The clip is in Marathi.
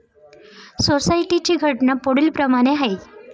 सोसायटी ची घटना पुढील प्रमाणे आहे.